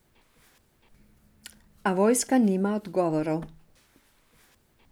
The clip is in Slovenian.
A vojska nima odgovorov.